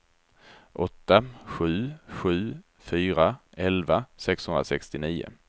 åtta sju sju fyra elva sexhundrasextionio